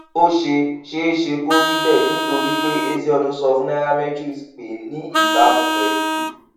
ó ṣeé ṣeé ṣe kó rí béè nítorí pé ezeonu sọ fún nairametrics pé ní ìbámu pèlú